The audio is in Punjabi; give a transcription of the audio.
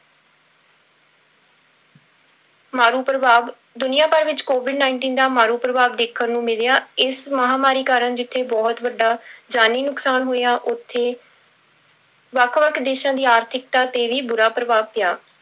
ਮਾਰੂ ਪ੍ਰਭਾਵ, ਦੁਨੀਆਂ ਭਰ ਵਿੱਚ covid nineteen ਦਾ ਮਾਰੂ ਪ੍ਰਭਾਵ ਦੇਖਣ ਨੂੰ ਮਿਲਿਆ ਇਸ ਮਹਾਂਮਾਰੀ ਕਾਰਨ ਜਿੱਥੇ ਬਹੁਤ ਵੱਡਾ ਜਾਨੀ ਨੁਕਸਾਨ ਹੋਇਆ ਉੱਥੇ ਵੱਖ ਵੱਖ ਦੇਸਾਂ ਦੀ ਆਰਥਿਕਤਾ ਤੇ ਵੀ ਬੁਰਾ ਪ੍ਰਭਾਵ ਪਿਆ।